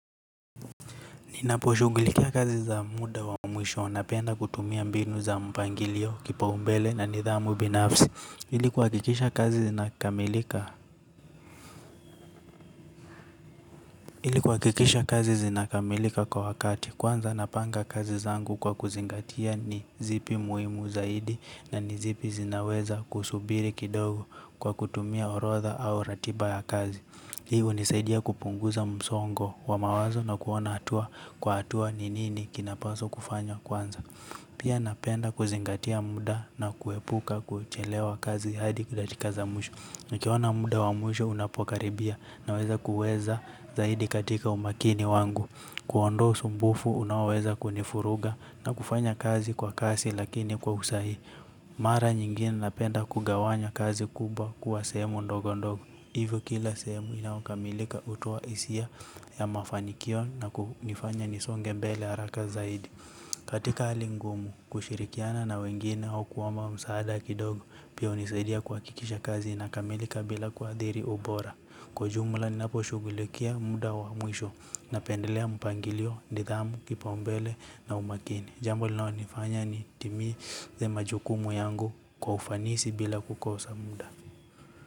Ninaposhugulikia kazi za muda wa mwisho napenda kutumia mbinu za mpangilio kipa umbele na nidhamu binafsi. Hili kuwakikisha kazi zinakamilika kwa wakati kwanza napanga kazi zangu kwa kuzingatia ni zipi muhimu zaidi na nizipi zinaweza kusubiri kidogo kwa kutumia orotha au ratiba ya kazi hii unisaidia kupunguza msongo wa mawazo na kuona hatua kwa hatua ni nini kinapaswa kunfanywa kwanza. Pia napenda kuzingatia muda na kuepuka kuchelewa kazi hadi kudakika za mwisho. Na kiwana muda wa mwishu unapokaribia na weza kuweza zaidi katika umakini wangu. Kuondosu mbufu unaweza kunifuruga na kufanya kazi kwa kasi lakini kwa usahihi. Mara nyingine napenda kugawanya kazi kuba kuwa sehemu ndogo ndogo. Hivyo kila sehemu inaokamilika utoa isia ya mafanikio na kunifanya nisonge mbele haraka zaidi. Katika hali ngumu kushirikiana na wengine hau kuwama msaada kidogo pia unisaidia kuwakikisha kazi na kamelika bila kwa adhiri ubora. Kwa jumla ni napo shugulikia muda wa mwisho napendelea mpangilio, ndidhamu, kipaumbele na umakini. Jambo linaonifanya ni timi ze majukumu yangu kwa ufanisi bila kukosa muda.